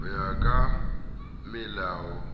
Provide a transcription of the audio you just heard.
hoya kamelao